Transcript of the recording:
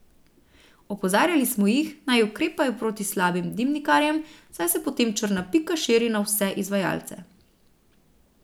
Opozarjali smo jih, naj ukrepajo proti slabim dimnikarjem, saj se potem črna pika širi na vse izvajalce.